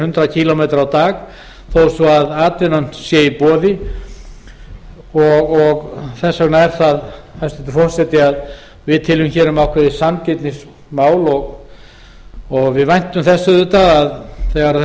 hundrað kílómetra á dag þó svo að atvinnan sé í boði þess vegna teljum við hæstvirtur forseti um ákveðið sanngirnismál að ræða og væntum þess að þegar